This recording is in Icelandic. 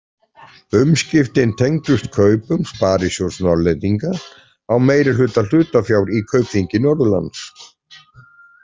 Umskiptin tengdust kaupum Sparisjóðs Norðlendinga á meirihluta hlutafjár í Kaupþingi Norðurlands.